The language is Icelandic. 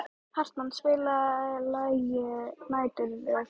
Hartmann, spilaðu lagið „Næturrölt“.